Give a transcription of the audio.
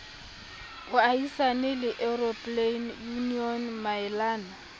boahisani le european union maelana